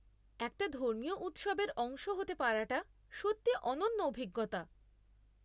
একটা ধর্মীয় উৎসবের অংশ হতে পারাটা সত্যিই অনন্য অভিজ্ঞতা।